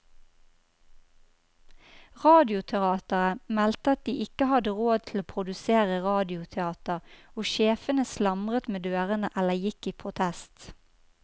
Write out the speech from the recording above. Radioteateret meldte at de ikke hadde råd til å produsere radioteater, og sjefene slamret med dørene eller gikk i protest.